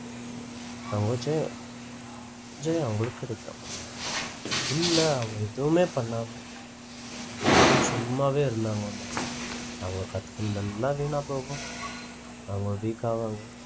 அவங்களுக்கு ஜெயம் ஜெயம் அவங்களுக்கு கிடைக்கும் இல்ல அவங்க எதுவுமே பண்ணாம சும்மாவே இருந்தாங்கனா அவங்க கத்துக்குனதெல்லாம் வீணாப்போகும் அவங்க weak ஆவாங்க